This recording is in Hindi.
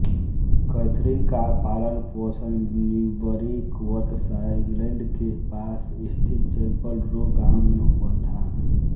कैथरीन का पालनपोषण न्यूबरी बर्कशायर इंग्लैंड के पास स्थित चैपल रो गाँव में हुआ था